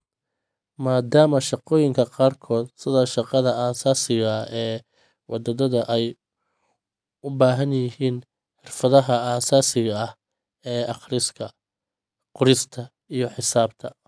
Maadaama shaqooyinka qaarkood sida shaqada aasaasiga ah ee wadaaddada ay u baahan yihiin xirfadaha aasaasiga ah ee akhriska, qorista iyo xisaabta.